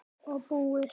Og búið.